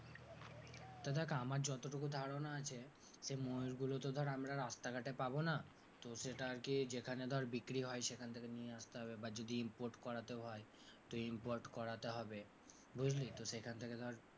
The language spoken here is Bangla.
তা দেখ আমার যতটুকু ধারণা আছে যে ময়ুরগুলো তো ধর আমরা রাস্তাঘাটে পাবনা, তো সেটা আরকি যেখানে ধর বিক্রি হয় সেখান থেকে নিয়ে আসতে হবে বা যদি import করাতেও হয় তো import করাতে হবে, বুঝলি তো সেখান থেকে ধর,